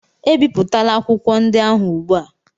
ebipụtala akwụkwọ akụkọ ndị ahụ ugbu a!